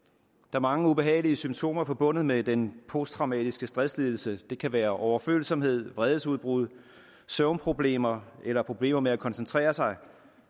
er mange ubehagelige symptomer forbundet med den posttraumatiske stresslidelse det kan være overfølsomhed vredesudbrud søvnproblemer eller problemer med at koncentrere sig